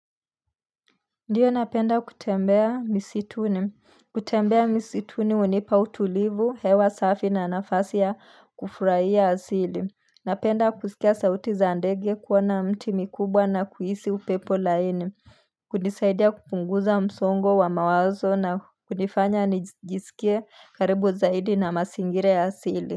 Ndiyo napenda kutembea misituni kutembea misituni unipa utulivu hewa safi na nafasi ya kufurahia asili Napenda kusikia sauti za ndege kuona mti mikubwa na kuhisi upepo laini kunisaidia kupunguza msongo wa mawazo na kunifanya nijisikie karibu zaidi na mazingira ya asili.